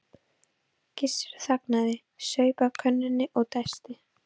Gissur þagnaði, saup af könnunni og dæsti.